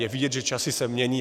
Je vidět, že časy se mění.